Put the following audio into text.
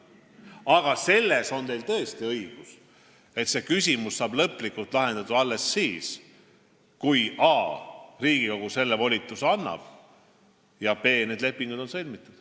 Aga selles on teil tõesti õigus, et see küsimus saab lõplikult lahendatud alles siis, kui a) Riigikogu selle volituse annab ja b) need lepingud on sõlmitud.